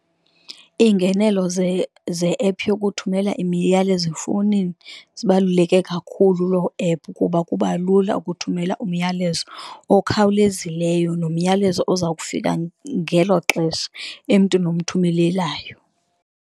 Iingenelo ze-ephu yokuthumela imiyalezo efowunini zibaluleke kakhulu loo ephu, kuba kuba lula ukuthumela umyalezo okhawulezileyo, nomyalezo oza kufika ngelo xesha emntwini omthumelelayo